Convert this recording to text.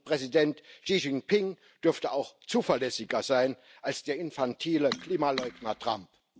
Und Präsident Xi Jinping dürfte auch zuverlässiger sein als der infantile Klimaleugner Trump.